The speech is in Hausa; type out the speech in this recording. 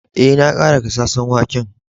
Eh, na kara gasasen waken.